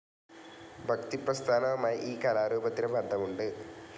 ഭക്തിപ്രസ്ഥാനവുമായി ഈ കലാരൂപത്തിന് ബന്ധമുണ്ട്.